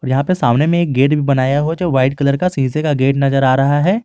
यह पे सामने में एक गेट भी बनाया है जो वाइट कलर का शीशे का गेट नजर आ रहा है।